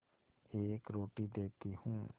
एक रोटी देती हूँ